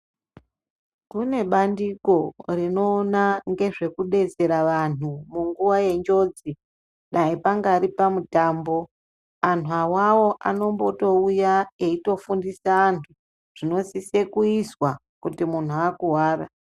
Kunebandiko rinowona ngezvekudetsera vanhu munguwa yenjodzi, dai pangari pamutambo, anhuwawawo anotombowuya eyitofundisa anhu zvinosise kuyiswa kuti muhnu akuwara.